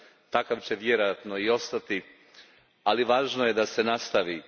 Takav će vjerojatno i ostati, ali važno je da se nastavi.